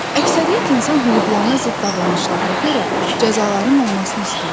Əksəriyyət insan hüquqlarına zidd davranışlara görə cəzaların olmasını istəyirlər.